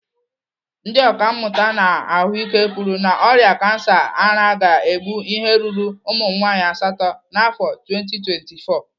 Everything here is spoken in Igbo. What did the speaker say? Ndị ọkàmmụta na ahụike kwuru na ọrịa kansa ara ga-egbu ihe ruru ụmụnwaanyị asatọ n'afọ 2024.